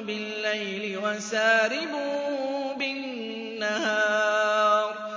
بِاللَّيْلِ وَسَارِبٌ بِالنَّهَارِ